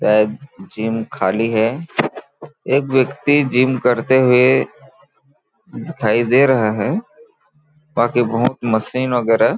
यह एक जिम खाली है एक व्यक्ति जिम करते हुए दिखाई दे रहा है बाकी बहुत मशीन वगैरह--